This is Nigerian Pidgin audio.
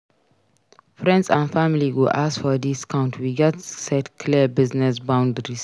Friends and family go ask for discount; we gats set clear business boundaries.